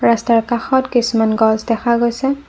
ৰাস্তাৰ কাষত কিছুমান গছ দেখা গৈছে।